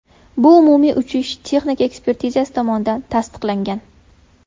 Bu umumiy uchish-texnika ekspertizasi tomonidan tasdiqlangan.